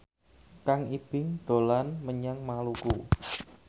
Kang Ibing dolan menyang Maluku